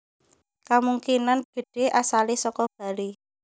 Kamungkinan gedhé asalé saka Bali